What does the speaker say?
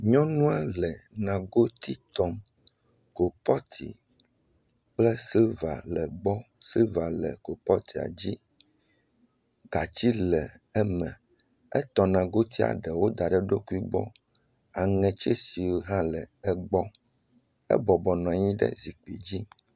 Nyɔnua le nagiti tom, kɔpoti kple siliva le egbɔ, siliva le kolpɔtia dzi, gatsi le eme, etɔ nagotia eɖe da ɖe eɖokui gbɔ aŋe tsɛshi hã le egbɔ.